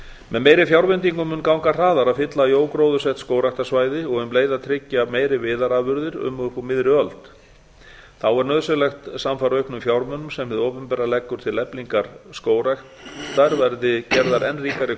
með meiri fjárveitingum mun ganga hraðar að fylla í ógróðursett skógræktarsvæði og um leið að tryggja meiri viðarafurðir um og upp úr miðri huldi þá er nauðsynlegt að samfara auknum fjármunum sem hið opinbera leggur til eflingar skógræktar verði gerðar enn ríkari